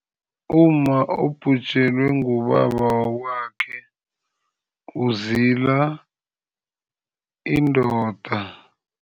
Umma obhujelwe ngubaba wakwakhe uzila indoda.